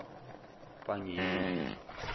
pangiyeli